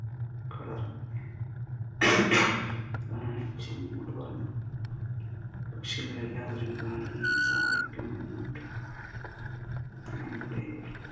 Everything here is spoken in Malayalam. റാണി നോട് പറഞ്ഞു പക്ഷികളെല്ലാവരും റാണിയെ സഹായിക്കാമെന്ന് എട്ടു നമ്മുടെ